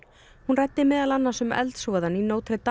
hún ræddi meðal annars um eldsvoðann í